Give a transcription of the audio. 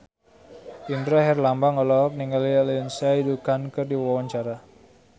Indra Herlambang olohok ningali Lindsay Ducan keur diwawancara